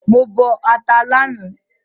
Mo bọ ata lánàá